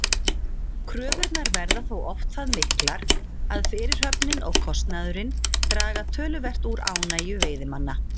Kröfurnar verða þó oft það miklar að fyrirhöfnin og kostnaðurinn draga töluvert úr ánægju veiðimanna.